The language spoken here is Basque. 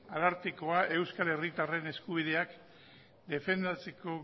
arartekoa euskal herritarren eskubideak defendatzeko